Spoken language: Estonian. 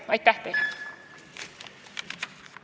Aitäh teile!